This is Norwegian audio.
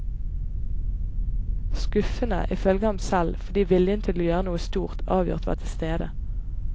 Skuffende, i følge ham selv, fordi viljen til å gjøre noe stort avgjort var til stede.